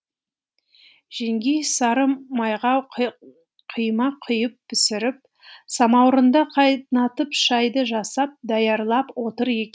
жеңгей сары майға құймақ құйып пісіріп самаурынды қайнатып шайды жасап даярлап отыр еді